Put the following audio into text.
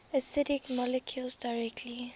acidic molecules directly